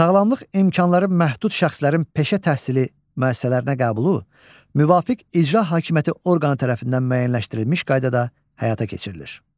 Sağlamlıq imkanları məhdud şəxslərin peşə təhsili müəssisələrinə qəbulu müvafiq icra hakimiyyəti orqanı tərəfindən müəyyənləşdirilmiş qaydada həyata keçirilir.